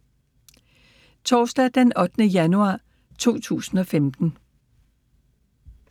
Torsdag d. 8. januar 2015